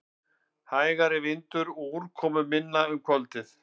Hægari vindur og úrkomuminna um kvöldið